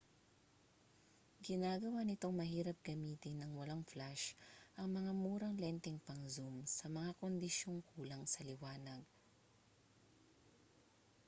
ginagawa nitong mahirap gamitin nang walang flash ang mga murang lenteng pang-zoom sa mga kondisyong kulang sa liwanag